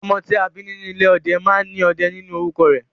Ọmọ tí a bí nínú ìdílé ọdẹ máa ní "Ọdẹ" nínú orúkọ rẹ̀